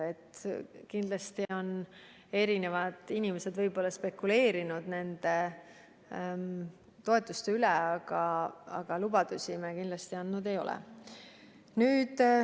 Kindlasti on inimesed nende toetuste üle spekuleerinud, aga lubadusi me kindlasti andnud ei ole.